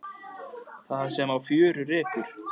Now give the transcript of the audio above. Það sem á fjörur rekur